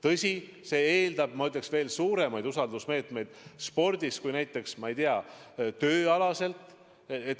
Tõsi, see eeldab, ma ütleksin, veel suuremaid usaldusmeetmeid spordis kui näiteks, ma ei tea, tööalaselt.